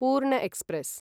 पूर्ण एक्स्प्रेस्